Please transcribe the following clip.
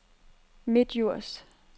Midtdjurs